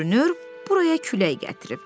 Görünür buraya külək gətirib.